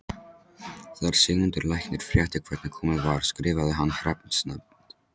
Þegar Sigmundur læknir frétti hvernig komið var skrifaði hann hreppsnefnd